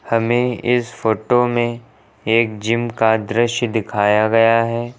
हमें इस फोटो में एक जिम का दृश्य दिखाया गया है।